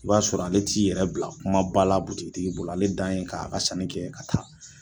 I b'a sɔrɔ ale t'i yɛrɛ bila kumaba la bolo, ale dan ye ka a ka sanni kɛ ka taa.